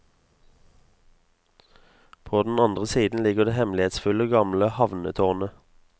På den andre siden ligger det hemmelighetsfulle gamle havnetårnet.